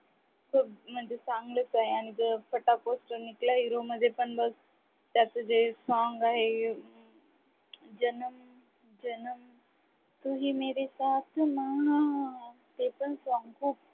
ते म्हणजेच चांगलच आहे आणि पोस्टर निकला हीरो मध्ये पण बघ त्याचे जे song आहे जनम जनम तू ही मेरे साथ ना ते पण song खूप छान